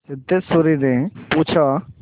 सिद्धेश्वरीने पूछा